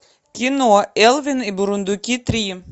кино элвин и бурундуки три